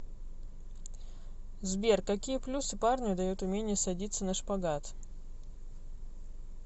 сбер какие плюсы парню дает умение садиться на шпагат